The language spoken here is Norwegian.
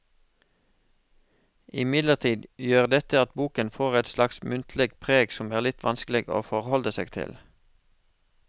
Imidlertid gjør dette at boken får et slags muntlig preg som er litt vanskelig å forholde seg til.